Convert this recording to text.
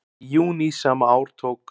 Í júní sama ár tók